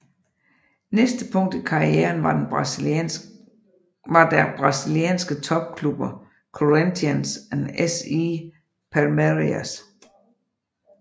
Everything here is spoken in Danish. Næste punkt i karrieren var der brasilianske topklubber Corinthians og SE Palmeiras